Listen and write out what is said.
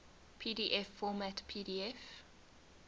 pdf format pdf